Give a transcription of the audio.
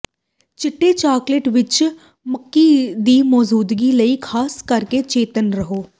ਚਿੱਟੇ ਚਾਕਲੇਟ ਵਿੱਚ ਮੱਕੀ ਦੀ ਮੌਜੂਦਗੀ ਲਈ ਖਾਸ ਕਰਕੇ ਚੇਤੰਨ ਰਹੋ